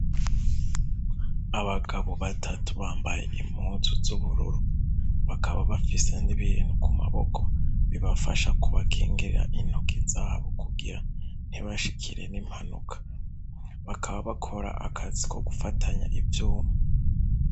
Abagabo batatu bambaye impuzu z'ubururu bakaba bafise n'ibintu ku maboko bibafasha kubakingira intoki zabo kugira ntibashikire n'impanuka, bakaba bakora akazi ko gufatanya ivyuma.